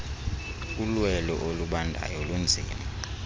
ulwelo olubandayo lunzima